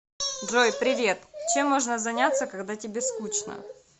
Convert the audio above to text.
джой привет чем можно заняться когда тебе скучно